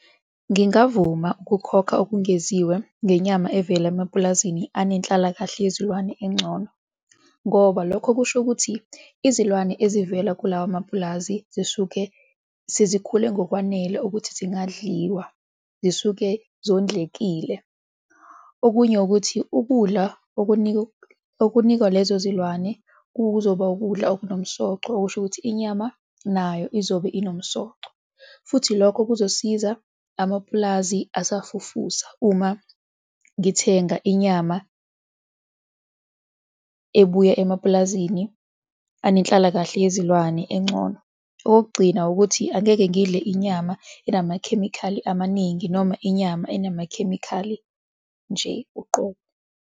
Ngingavuma ukukhokha okungeziwe ngenyama evela emapulazini anenhlalakahle yezilwane engcono, ngoba lokho kusho ukuthi izilwane ezivela kulawa mapulazi zisuke sezikhule ngokwanele ukuthi zingadliwa, zisuke zondlekile. Okunye ukuthi ukudla okunikwa lezo zilwane kuzoba ukudla okunomsoco okusho ukuthi inyama nayo izobe inomsoco futhi lokho kuzosiza amapulazi asafufusa uma ngithenga inyama ebuya emapulazini anenhlalakahle yezilwane engcono. Okokugcina ukuthi angeke ngidle inyama enamakhemikhali amaningi noma inyama enamakhemikhali nje uqobo.